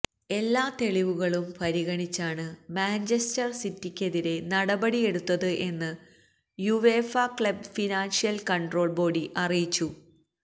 എല്ലാ തെളിവുകളും പരിഗണിച്ചാണ് മാഞ്ചസ്റ്റര് സിറ്റിക്കെതിരെ നടിപടിയെടുത്തത് എന്ന് UEFA club financial control body അറിയിച്ചു